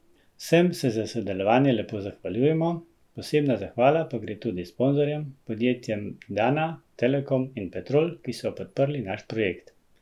Vsem se za sodelovanje lepo zahvaljujemo, posebna zahvala pa gre tudi sponzorjem, podjetjem Dana, Telekom in Petrol, ki so podprli naš projekt.